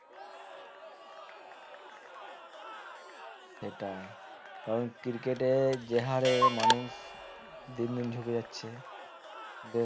সেটাই কারণ cricket এ যে হারে মানুষ দিন দিন ঝুঁকে যাচ্ছে বেশ হম positive দিক খেলাধুলো হ্যাঁ হ্যাঁ আর